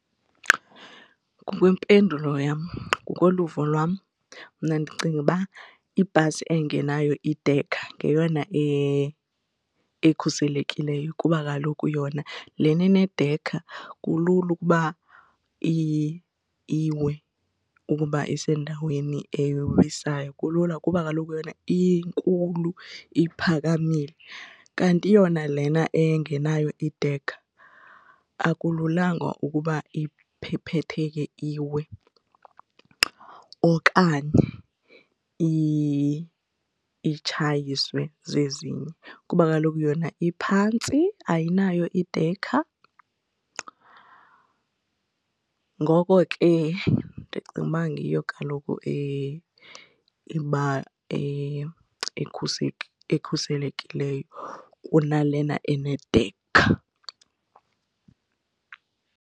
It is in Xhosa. Ngokwempendulo yam ngokoluvo lwam mna ndicinga uba ibhasi engenayo idekha ngeyona ekhuselekileyo kuba kaloku yona lena inedekha kulula ukuba iwe ukuba isendaweni ewisayo kulula kuba kaloku yona inkulu, iphakamile. Kanti yona lena engenayo idekha akululanga ukuba iphephetheke iwe okanye itshayiswe zezinye kuba kaloku yona iphantsi ayinayo idekha. Ngoko ke ndicinga uba ngiyo kaloku ekhuselekileyo kunalena enedekha.